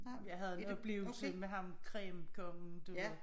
Jeg havde en oplevelse med ham cremekongen du ved